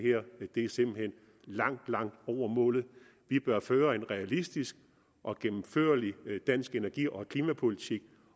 langt langt over målet vi bør føre en realistisk og gennemførlig dansk energi og klimapolitik